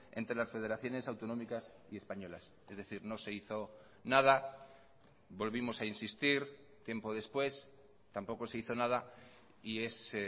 entre las federaciones autonómicas y españolas es decir no se hizo nada volvimos a insistir tiempo después tampoco se hizo nada y es